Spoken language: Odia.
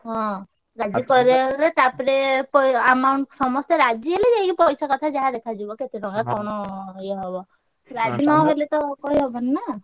ହଁ ରାଜି କରେଇଆରେ ହେଲେ ତାପରେ ପ amount ସମସ୍ତେ ରାଜି ହେଲେ ଯାଇକି ପଇସା କଥା ଯାହା ଦେଖାଯିବ। କେତେ ଟଙ୍କା କଣ ଇଏ ହବ। ରାଜି ନହେଲେ ତ କହି ହବନି ନା।